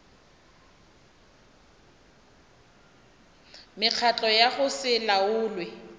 mekgatlo ya go se laolwe